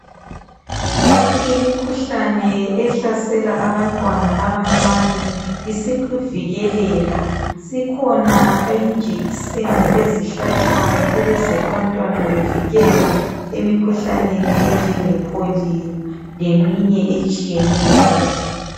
Imikhuhlane ehlasela abantwana abancane isivikeleka . Sikhona injekiseni ezihlatshwayo ukuze abantwana bevikelwe emikhuhlaneni enjengePolio leminye etshiyeneyo.